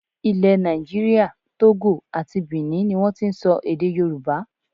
Ilẹ̀ nàìjíríà, Togo àti Bìní ni wọ́n ti ń sọ èdè Yorùbá.